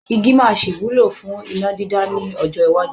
Igí máa sì wúlò fún iná dídá lọ́jọ́ iwájú.